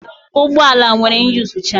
Ụgbọ ala nwere iyuzucha.